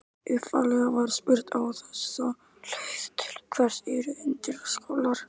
Daði var litríkur hani í taumi hjá hirðfífli með gyllta kórónu.